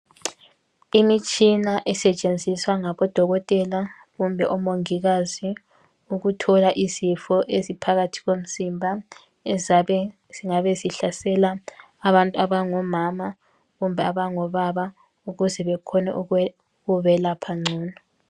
Imitshina esetshenziswa ngabodokotela kumbe bomungikazi ukuthola isifo esiphakathi komzimba, esingabe sihlasela abantu abangomama kumbe abangobaba ukuze bakwanise ukubelapha ngcono.